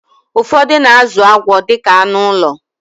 Ụfọdụ na-azụ agwọ dịka anụ ụlọ